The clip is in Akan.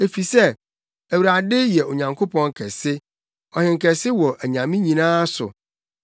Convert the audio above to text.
Efisɛ Awurade yɛ Onyankopɔn kɛse, ɔhenkɛse wɔ anyame nyinaa so.